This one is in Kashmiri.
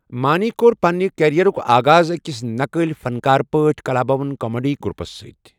مانی کوٚر پنِنہِ کیرئیرُک آغاز أکِس نقالی فنکارٕ پٲٹھۍ کلابھون کامیڈی گروپَس سۭتۍ۔